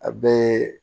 A bɛɛ